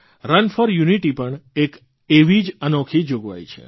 run for unity પણ એક એવી જ અનોખી જોગવાઇ છે